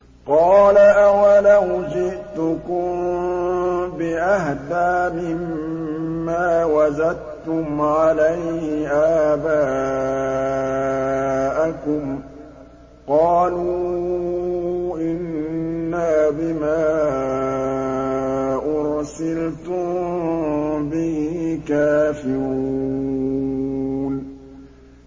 ۞ قَالَ أَوَلَوْ جِئْتُكُم بِأَهْدَىٰ مِمَّا وَجَدتُّمْ عَلَيْهِ آبَاءَكُمْ ۖ قَالُوا إِنَّا بِمَا أُرْسِلْتُم بِهِ كَافِرُونَ